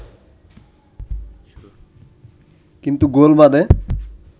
কিন্তু গোল বাধে